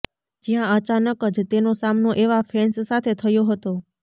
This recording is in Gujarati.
જ્યાં અચાનક જ તેનો સામનો એવા ફેન્સ સાથે થયો હતો